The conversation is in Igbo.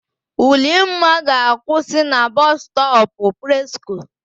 Ulimma ga-akwụsị na Bọsụ stọpụ Presko.